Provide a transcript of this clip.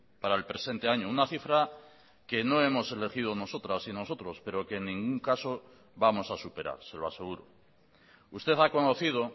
para el presente año una cifra que no hemos elegido nosotras y nosotros pero que en ningún caso vamos a superar se lo aseguro usted ha conocido